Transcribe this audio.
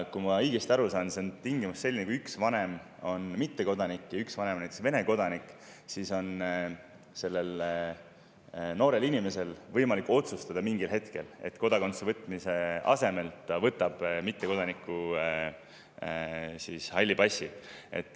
Kui ma olen õigesti aru saanud, siis see tingimus on selline, et kui üks vanem on mittekodanik ja üks vanem on näiteks Vene kodanik, siis on sellel noorel inimesel võimalik mingil hetkel otsustada, et kodakondsuse võtmise asemel ta võtab mittekodaniku halli passi.